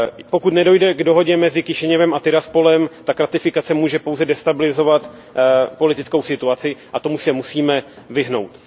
Pokud nedojde k dohodě mezi Kišiněvem a Tiraspolem, tak ratifikace může pouze dále destabilizovat politickou situaci a tomu se musíme vyhnout.